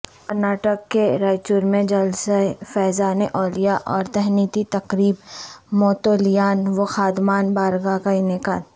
کرناٹک کے رائچورمیں جلسہ فیضان اولیاء اور تہنیتی تقریب متولیان وخادمان بارگاہ کا انعقاد